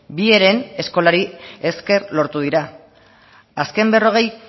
bi heren eskolari esker lortu dira azken berrogei